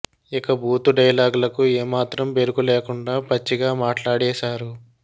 ఇక బూతు డైలాగ్లకు ఏ మాత్రం బెరుకు లేకుండా పచ్చిగా మాట్లాడేశారు